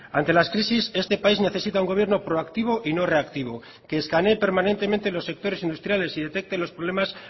ante las crisis este país necesita un gobierno proactivo y no reactivo que escaneé permanentemente los sectores industriales y detecte los problemas